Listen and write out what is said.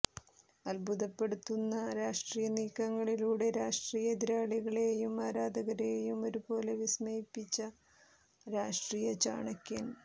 അദ്ഭുതപ്പെടുത്തുന്ന രാഷ്ട്രീയ നീക്കങ്ങളിലൂടെ രാഷ്ട്രീയ എതിരാളികളെയും ആരാധകരെയും ഒരുപോലെ വിസ്മയിപ്പിച്ച രാഷ്ട്രീയചാണക്യൻ